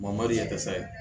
dɛsɛ